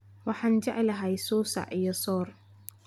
waxan jeclahay susac iyo soor